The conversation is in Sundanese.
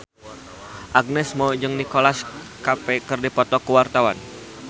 Agnes Mo jeung Nicholas Cafe keur dipoto ku wartawan